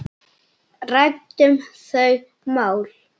Ræddum þau mál.